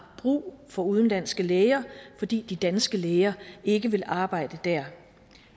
brug for udenlandske læger fordi de danske læger ikke vil arbejde der